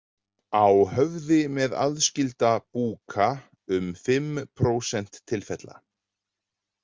Á höfði með aðskilda búka- um fimm prósent tilfella.